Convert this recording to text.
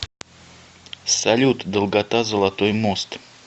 салют долгота золотой мост